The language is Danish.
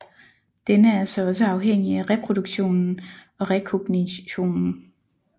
Denne er så også afhængig af reproduktionen og rekognitionen